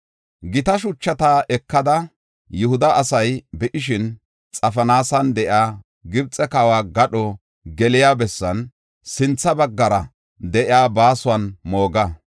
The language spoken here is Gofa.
“Gita shuchata ekada, Yihuda asay be7ishin, Xafinaasan de7iya Gibxe kawa gadho geliya bessan sintha baggara de7iya baasuwan mooga.